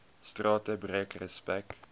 strate breek respek